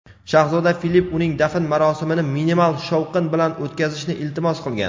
shahzoda Filipp uning dafn marosimini minimal shovqin bilan o‘tkazishni iltimos qilgan.